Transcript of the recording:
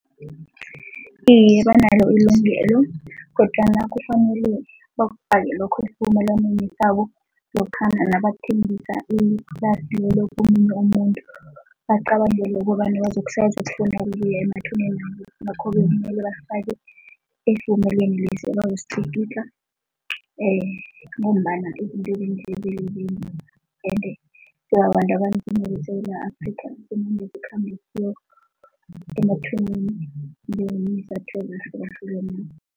Iye, banalo ilungelo kodwana kufanele bakubhale lokho esivumelwaneni sabo lokha nabathengisa iplasi lelo komunye umuntu. Bacabangele ukobana ukuya emathuneni ngakho-ke kumele iinthelo bafake esivumelwaneni lesi ebazositlikitla ngombana ende abanzima beSewula Afrika kumele sikhambe emathuneni